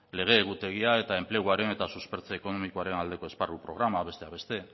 lege egutegia eta enpleguaren eta suspertze ekonomikoaren aldeko esparru programa besteak beste